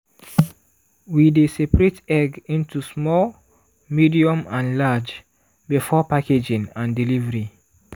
we dey separate egg into small medium and large before packaging and delivery.